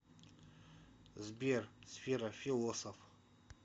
сбер сфера философ